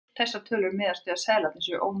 Þessar tölur miðast við að seðlarnir séu ónotaðir.